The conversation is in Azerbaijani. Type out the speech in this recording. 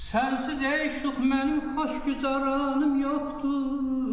Sənsiz ey şux mənim xoş gücaranım yoxdur.